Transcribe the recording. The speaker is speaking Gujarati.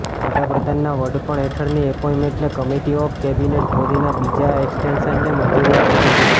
વડાપ્રધાનના વડપણ હેઠળની એપોઇન્ટમેન્ટ કમિટી ઓફ કેબિનેટે મોદીના બીજા એક્સ્ટેન્શનને મંજૂરી આપી દીધી છે